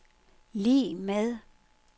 lig med